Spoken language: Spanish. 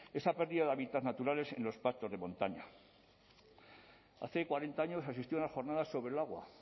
esa pérdida de hábitats naturales en los pactos de montaña hace cuarenta años existieron unas jornadas sobre el agua